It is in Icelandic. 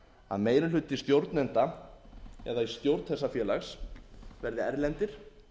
að meiri hluti stjórnenda eða í stjórn þessa félags verði erlendir